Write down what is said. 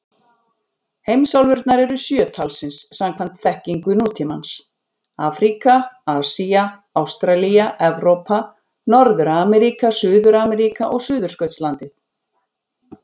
Heimsálfurnar eru sjö talsins samkvæmt þekkingu nútímans: Afríka, Asía, Ástralía, Evrópa, Norður-Ameríka, Suður-Ameríka og Suðurskautslandið.